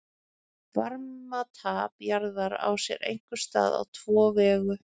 varmatap jarðar á sér einkum stað á tvo vegu